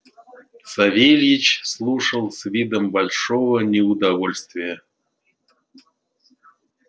савельич слушал с видом большого неудовольствия